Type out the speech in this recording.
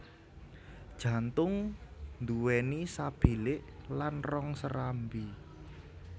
Jantung duwéni sabilik lan rong serambi